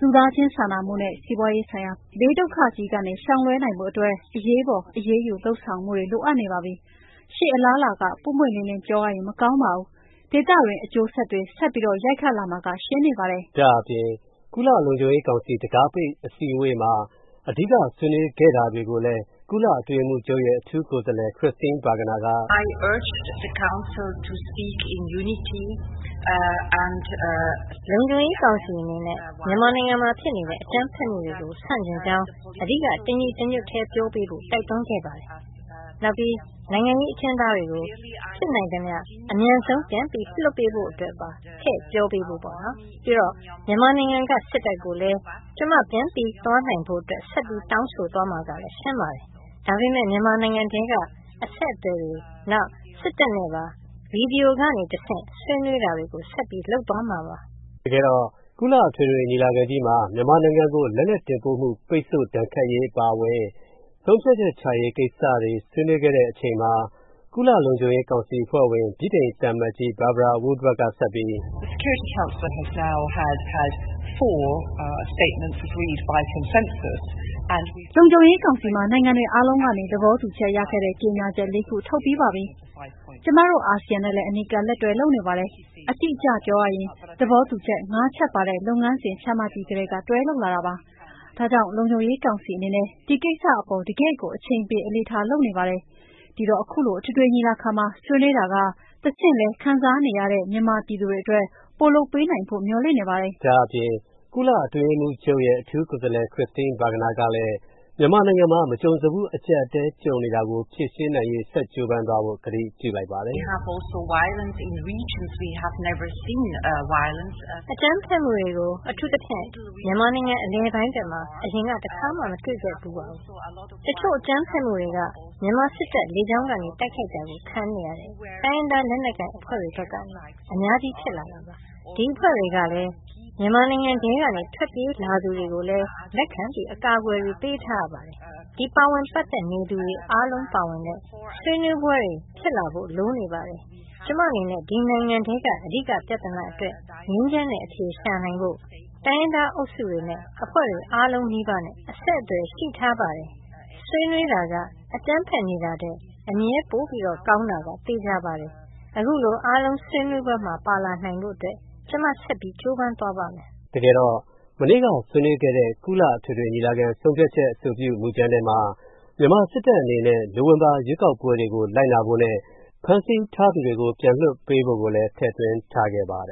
လူသားချင်းစာနာမူနဲ့ စီးပွားရေးဆိုင်ရာ ဘေးဒုက္ခကြီးကနေ ရှောင်လွှဲနိုင်ဖို့အတွက်၊ အရေးပေါ် အရေးယူလုပ်ဆောင်မူတွေ လိုအပ်နေပါပြီ။ ရှေ.အလားအလာက ပွင့်ပွင့်လင်းလင်းပြောရရင် မကောင်းပါဘူး။ ဒေသတွင်း အကျိုးဆက်တွေ ဆက်ရိုက်ခတ်လာမှာက ရှင်းနေပါတယ်။” ဒါ့အပြင် ကုလလုံခြုံရေးကောင်စီ တံခါးပိတ်အစည်းအဝေးမှာ အဓိက ဆွေးနွေးခဲ့တာတွေကိုလည်း ကုလအတွင်းရေးမှူချုပ်ရဲ့ အထူးကိုယ်စားလှယ် Christine Schraner Burgener က “ လုံခြုံရေးကောင်စီအနေနဲ့ မြန်မာနိုင်ငံမှာဖြစ်နေတဲ့ အကြမ်းဖက်မူတွေကို ဆန့်ကျင်းကြောင်း တညီတညွတ်ထဲ အဓိက ပြောပေးဖို့ တိုက်တွန်းခဲ့ပါတယ်။ နောက်၊ နိုင်ငံရေးအကျဉ်းသားတွေကို ဖြစ်နိုင်သမျှ အမြန်ဆုံး ပြန်လွှတ်ပေးဖို့ အတွက်ပါ ထည့်ပြောပေးဖို့ပေါ့နော်။ ပြီးတော့ မြန်မာနိုင်ငံက စစ်တပ်ကိုလည်း ကျွန်မကို ပြန်သွားနိုင်ဖို့ ဆက်တောင်းဆိုသွားမှာကလည်း ရှင်းပါတယ်။ ဒါပေမဲ့ မြန်မာနိုင်ငံထဲက အဆက်အသွယ်တွေနဲ့ နောက် စစ်တပ်နဲ့ပါ ဗွီဒီယိုကနေတဆင့်ဆွေးနွေးတာတွေကို ဆက်လုပ်သွားမှာပါ။” တကယ်တော့ ကုလသမဂ္ဂအထွေထွေညီလာခံမှာ မြန်မာနိုင်ငံကို လက်နက်တင်ပို့မှု ပိတ်ဆို့ရေးအပါအဝင် ဆုံးဖြတ်ချက်ချရေးကိစ္စတွေ ဆွေးနွေးခဲ့တဲ့အချိန်မှာ ကုလလုံခြုံရေးကောင်စီအဖွဲ့ဝင် ဗြိတိန်သံအမတ်ကြီး Barbara Woodward ကဆက်ပြီး “ လုံခြုံရေးကောင်စီမှာ နိုင်ငံတွေအားလုံးကနေ သဘောတူချက်ရခဲ့တဲ့ ကြေညာချက် ၄ ခု ထုတ်ပြီးပါပြီ။ ကျွန်မတို့ အာဆီယံနဲ့လည်း အနီးကပ်တွဲလုပ်နေပါတယ်၊ အတိအကျပြောရရင်၊ သဘောတူချက် ၅ ချက်ပါတဲ့ လုပ်ငန်းစဉ်ချမှတ်ပြီးကတည်းက တွဲလုပ်လာတာပါ။ ဒါကြောင့် လုံခြုံရေးကောင်စီအနေနဲ့ ဒီကိစ္စအပေါ် တကယ့်ကို အချိန်ပေး အလေးထားလုပ်နေပါတယ်။ ဒီတော့ အခုလို အထွေထွေညီလာခံမှာ ဆွေးနွေးတာကတဆင့်လည်း၊ ခံစားနေရတဲ့ မြန်မာပြည်သူတွေ အတွက် ပိုလုပ်ပေးနိုင်ဖို့ မျှော်လင့်နေပါတယ်။” ဒါ့အပြင် ကုလအတွင်းရေးမှူချုပ်ရဲ့ အထူးကိုယ်စားလှယ် Christine Schraner Burgener ကလည်း မြန်မာနိုင်ငံမှာ မကြုံစဖူးအကျပ်အတည်း ကြုံနေတာကို ဖြေရှင်းနိုင်ရေး ဆက်ပြီးတော့ ကြိုးပမ်းသွားဖို့ ကတိပြုလိုက်ပါတယ်။ “အကြမ်းဖက်မူတွေကို အထူးသဖြင့် မြန်မာနိုင်ငံ အလယ်ပိုင်းဖက်မှာ အရင်တခါမှ မတွေ့ခဲ့ဖူးပါဘူး။ တချို့အကြမ်းဖက်မူတွေက မြန်မာစစ်တပ် လေကြောင်းကနေတိုက်ခိုက်တာခံနေရတဲ့ တိုင်းရင်းသားလက်နက်ကိုင်အဖွဲ့တွေ ဖက်ကနေလည်း အများကြီး ဖြစ်လာနေပါတယ်။ ဒီအဖွဲ့တွေက မြန်မာနိုင်ငံထဲကနေ ထွက်ပြေးလာသူတွေကိုလည်း လက်ခံအကာအကွယ်ပေးထားရပါတယ်။ ဒီပါဝင်ပတ်သက်နေသူတွေ အားလုံးပါဝင်တဲ့ ဆွေးနွေးပွဲတွေဖြစ်လာဖို့ လိုနေပါတယ်။ ကျွန်မအနေနဲ့ ဒီနိုင်ငံထဲက အဓိကပြဿနာအတွက် ငြိမ်းချမ်းတဲ့ အဖြေရှာနိုင်ဖို့၊ တိုင်းရင်းသားအုပ်စုတွေနဲ့ အဖွဲ့တွေအားလုံးနီးပါးနဲ့ အဆက်သွယ် ရှိထားပါတယ်။ ဆွေးနွေးတာက အကြမ်းဖက်နေတာထက် အမြဲပိုကောင်းတာက သေချာပါတယ်။ အခုလိုအားလုံးဆွေးဆွေးနွေးပွဲမှာပါလာနိုင်ဖို့ ကျွန်မဆက်ကြိုးပမ်းသွားပါမယ်။” တကယ်တော့ မနေ့က ဆွေးနွေးခဲ့တဲ့ ကုလအထွေထွေညီလာခံဆုံးဖြတ်ချက်အဆိုပြု မူကြမ်းထဲမှာ မြန်မာစစ်တပ် အနေနဲ့ နိုဝင်ဘာရွေးကောက်ပွဲ ရလဒ်ကို လိုက်နာဖို့နဲ့ ဖမ်းဆီးထားသူတွေကို ပြန်လွှတ်ပေးဖို့ကိုလည်း ထည့်သွင်းထားခဲ့ပါတယ